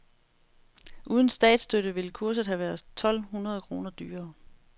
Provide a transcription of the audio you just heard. Uden statsstøtte ville kurset have været tolv hundrede kroner dyrere.